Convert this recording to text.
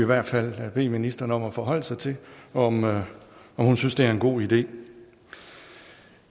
hvert fald bede ministeren om at forholde sig til om hun synes det er en god idé